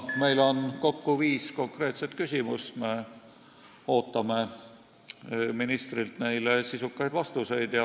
Meil on kokku viis konkreetset küsimust ja me ootame ministrilt neile sisukaid vastuseid.